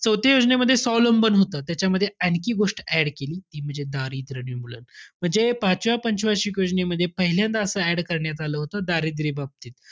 चौथ्या योजनेमध्ये स्वावलंबन होतं. त्याच्यामध्ये आणखी एक गोष्ट add केली. ती म्हणजे दारिद्र्य निर्मूलन. म्हणजे, पाचव्या पंच वार्षिक योजनेमध्ये, पहिल्यांदा असं add करण्यात आलं होतं, दारिद्र्याबाबतीत.